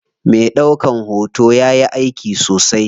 Me ɗaukan hoto yayi aiki sosai.